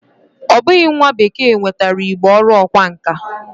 O bughi nwa bekee nwetara Igbo oru okwa nka.